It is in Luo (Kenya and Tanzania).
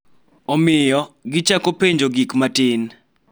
Omiyo, gichako penjo gik matin